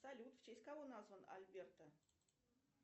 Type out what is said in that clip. салют в честь кого назван альберто